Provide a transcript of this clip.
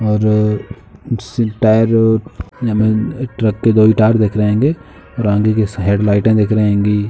और सिलपायरो नमन ट्रक के दो टायर दिख रहे होंगे। बाउंड्री के साइड लाइटें दिख रही हेंगी।